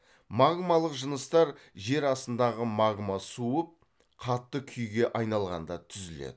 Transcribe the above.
магмалық жыныстар жер астындағы магма суып қатты күйге айналғанда түзіледі